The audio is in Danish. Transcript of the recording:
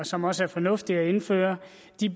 som også er fornuftige at indføre